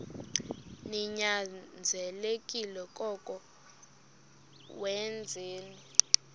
ninyanzelekile koko wenzeni